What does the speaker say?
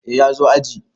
Eh ya zo aji.